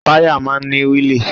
Táyà máa ń ní wíìlì